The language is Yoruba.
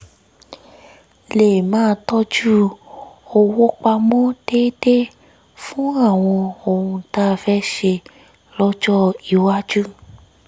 lè máa tọ́jú owó pamọ́ déédéé fún àwọn ohun tá a fẹ́ ṣe lọ́jọ́ iwájú